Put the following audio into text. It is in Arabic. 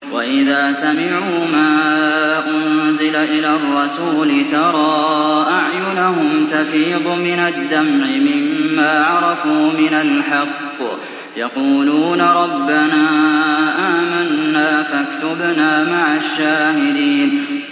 وَإِذَا سَمِعُوا مَا أُنزِلَ إِلَى الرَّسُولِ تَرَىٰ أَعْيُنَهُمْ تَفِيضُ مِنَ الدَّمْعِ مِمَّا عَرَفُوا مِنَ الْحَقِّ ۖ يَقُولُونَ رَبَّنَا آمَنَّا فَاكْتُبْنَا مَعَ الشَّاهِدِينَ